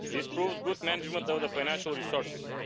This proves good management of financial resources.